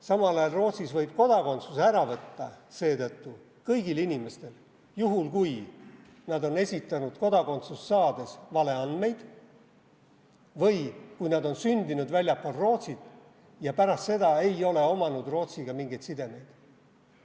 Samal ajal võib Rootsis kodakondsuse ära võtta kõigilt inimestelt juhul, kui nad on esitanud kodakondsust saades valeandmeid või kui nad on sündinud väljaspool Rootsit ja pärast seda ei ole omanud Rootsiga mingeid sidemeid.